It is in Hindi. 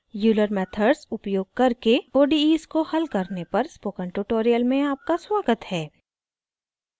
euler methods उपयोग करके odes को हल करने पर स्पोकन ट्यूटोरियल में आपका स्वागत है